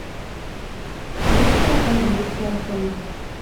песня английский алфавит